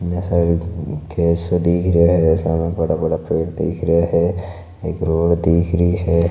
इतना सारे खेत से दिख रे है सामने बड़ा बड़ा पेड़ सा दिख रा है एक रोड दिख रही है।